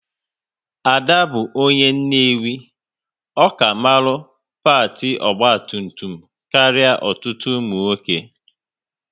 Ada bụ onye Nnewi, ọ ka mara pâti ogba tum tum karịa ọtụtụ ụmụ nwoke